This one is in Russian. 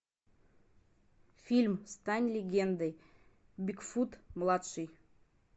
фильм стань легендой бигфут младший